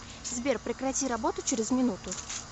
сбер прекрати работу через минуту